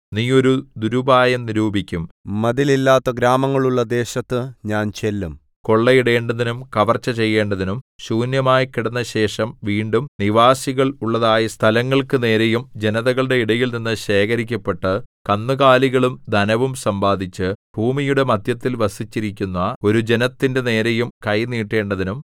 നീ ഒരു ദുരുപായം നിരൂപിക്കും മതിലില്ലാത്ത ഗ്രാമങ്ങൾ ഉള്ള ദേശത്തു ഞാൻ ചെല്ലും കൊള്ളയിടേണ്ടതിനും കവർച്ച ചെയ്യേണ്ടതിനും ശൂന്യമായിക്കിടന്നശേഷം വീണ്ടും നിവാസികൾ ഉള്ളതായ സ്ഥലങ്ങൾക്കു നേരെയും ജനതകളുടെ ഇടയിൽനിന്ന് ശേഖരിക്കപ്പെട്ട് കന്നുകാലികളും ധനവും സമ്പാദിച്ച് ഭൂമിയുടെ മദ്ധ്യത്തിൽ വസിച്ചിരിക്കുന്ന ഒരു ജനത്തിന്റെ നേരെയും കൈ നീട്ടേണ്ടതിനും